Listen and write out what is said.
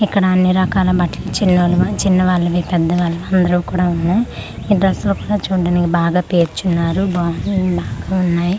ఇక్కడ అన్నిరకాల బట్లు చిన్నోలు చిన్న వాళ్ళవి పెద్ద వాళ్ళవి అందరివు కూడా ఉన్నాయ్ ఈ డ్రస్సులు కూడా చూడ్డానికి బాగా పేర్చున్నారు బాగున్నా బాగున్నాయ్.